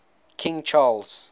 king charles